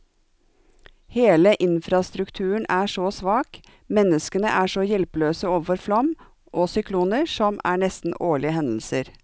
Hele infrastrukturen er så svak, menneskene er så hjelpeløse overfor flom og sykloner, som er nesten årlige hendelser.